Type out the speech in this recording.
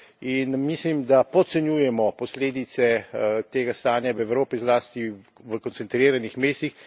In mislim, da podcenjujemo posledice tega stanja v Evropi, zlasti v koncentriranih mestih.